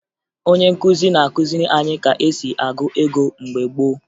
Onye nkụzi na-akụziri anyị ka e si agụ ego mgbe gboo